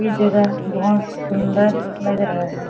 ये जगह बहुत सुंदर लग रहा है।